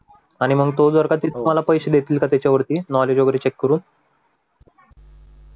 आणि मग तो जर का ते तुम्हाला पैसे देतील का त्याच्यावरती नॉलेज वगैरे चेक करून